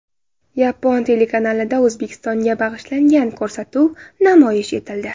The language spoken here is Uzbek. Yapon telekanalida O‘zbekistonga bag‘ishlangan ko‘rsatuv namoyish etildi.